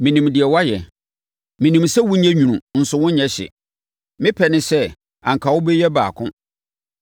Menim deɛ woayɛ. Menim sɛ wonyɛ nwunu nso wonyɛ hye. Me pɛ ne sɛ, anka wobɛyɛ mu baako.